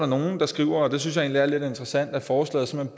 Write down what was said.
nogle der skriver og det synes er lidt interessant at forslaget